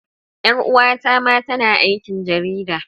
Yar uwata ma tana aikin jarida.